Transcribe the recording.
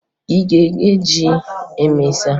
Ị ga-eghe ji ma emesịa?